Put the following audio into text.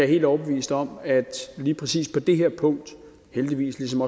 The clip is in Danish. helt overbevist om at der lige præcis på det her punkt heldigvis ligesom